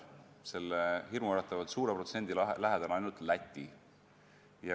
Selle hirmuäratavalt suure protsendi lähedal on oma protsendiga ainult Läti.